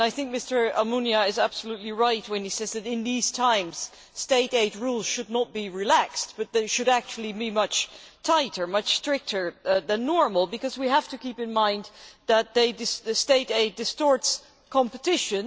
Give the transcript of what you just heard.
Mr Almunia is absolutely right when he says that in these times state aid rules should not be relaxed, but they should actually be much tighter and much stricter than normal, because we have to keep in mind that state aid distorts competition.